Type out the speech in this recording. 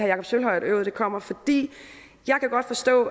jakob sølvhøj at øvet kommer jeg kan godt forstå